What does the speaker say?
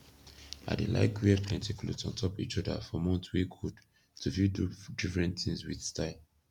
i dey laik wear plenti kloth ontop ish oda for month wey kold to fit do difren tins wit style